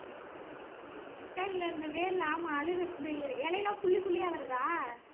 அழுகிப்போயிருச்சா இல்ல இந்த வேர்ல ஆமா அழுது~ இந்த இலையெல்லாம் புள்ளி புள்ளிய வருதா